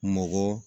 Mɔgɔ